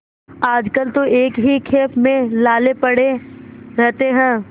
आजकल तो एक ही खेप में लाले पड़े रहते हैं